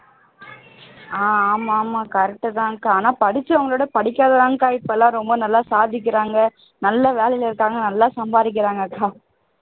நல்ல வேலையில இருக்காங்க நல்லா சம்பாதிக்கிறாங்க அக்கா